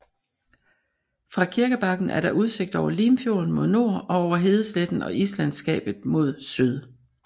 Fra kirkebakken er der udsigt over Limfjorden mod nord og over hedesletten og israndslandskabet mod syd